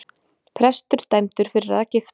Prestur dæmdur fyrir að gifta